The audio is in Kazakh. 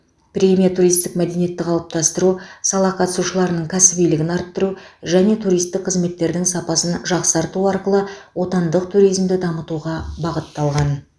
премия туристік мәдениетті қалыптастыру сала қатысушыларының кәсібилігін арттыру және туристік қызметтердің сапасын жақсарту арқылы отандық туризмді дамытуға бағытталған